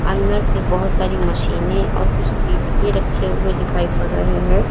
अंदर से बहुत सारी मशीनें और कुछ डिब्बे रखे हुए दिखाई पड़ रहे हैं।